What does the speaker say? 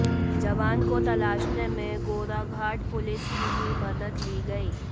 जवान को तलाशने में गोराघाट पुलिस की भी मदद ली गई